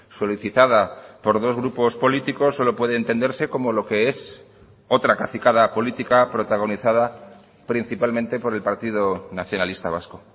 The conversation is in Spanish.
solicitada por dos grupos políticos solo puede entenderse como lo que es otra cacicada política protagonizada principalmente por el partido nacionalista vasco